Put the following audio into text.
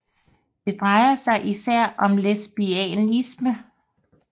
Det drejer sig især om lesbianisme